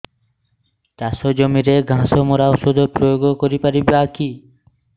ଚାଷ ଜମିରେ ଘାସ ମରା ଔଷଧ ପ୍ରୟୋଗ କରି ପାରିବା କି